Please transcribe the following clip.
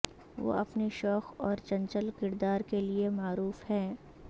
وہ اپنے شوخ اور چنچل کردار کے لیے معروف ہیں